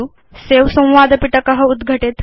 सवे संवाद पिटक उद्घटेत्